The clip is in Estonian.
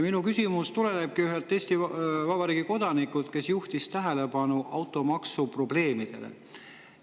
Minu küsimus tuleb ühelt Eesti Vabariigi kodanikult, kes juhtis tähelepanu automaksu probleemidele.